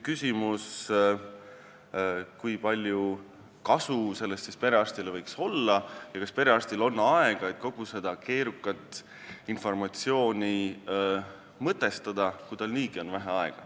Küsimus on selles, kui palju kasu võiks siis sellest perearstile olla ja kas tal on mahti kogu seda keerukat informatsiooni mõtestada, kui tal on aega niigi vähe.